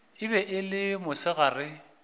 e be e le mosegare